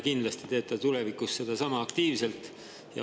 Kindlasti teeb ta tulevikus seda sama aktiivselt.